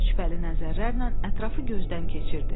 Şübhəli nəzərlərlə ətrafı gözdən keçirdi.